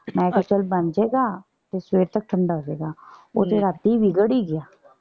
ਮੈਂ ਕਿਹਾ ਚੱਲ ਬਣ ਜਾਏਗਾ। ਤੇ ਸਵੇਰ ਤੱਕ ਠੰਡਾ ਹੋ ਜੇ ਗਾ। ਉਹ ਤੇ ਰਾਤੀਂ ਵਿਗੜ ਹੀ ਗਿਆ।